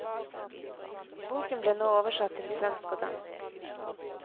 Boken ble nå oversatt til svensk og dansk.